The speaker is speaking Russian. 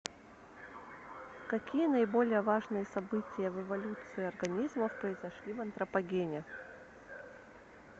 какие наиболее важные события в эволюции организмов произошли в антропогене